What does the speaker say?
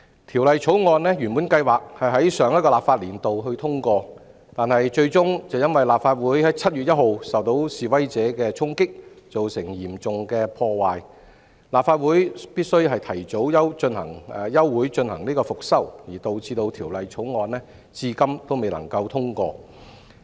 《條例草案》原計劃在上個立法年度通過，但最終卻因立法會在7月1日受到示威者的衝擊，造成嚴重破壞，立法會須提早休會進行復修，導致《條例草案》至今未能通過。